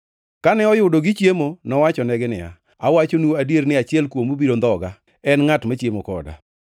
Kane oyudo gichiemo, nowachonegi niya, “Awachonu adier ni achiel kuomu biro ndhoga, en ngʼat machiemo koda.”